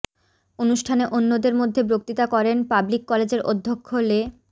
অনুষ্ঠানে অন্যদের মধ্যে বক্তৃতা করেন পাবলিক কলেজের অধ্যক্ষ লে